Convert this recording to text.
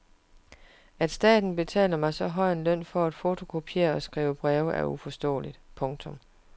At staten betaler mig så høj en løn for at fotokopiere og skrive breve er uforståeligt. punktum